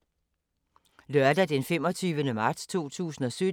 Lørdag d. 25. marts 2017